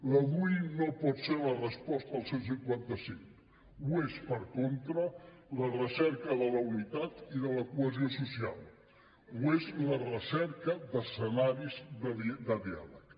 la dui no pot ser la resposta al cent i cinquanta cinc ho és per contra la recerca de la unitat i de la cohesió social ho és la recerca d’escenaris de diàleg